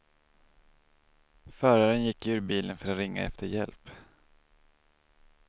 Föraren gick ur bilen för att ringa efter hjälp.